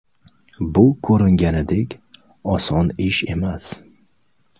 Bu ko‘ringanidek oson ish emas.